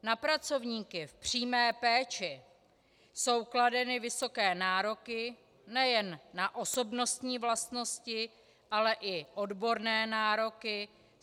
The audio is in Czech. Na pracovníky v přímé péči jsou kladeny vysoké nároky nejen na osobnostní vlastnosti, ale i odborné nároky.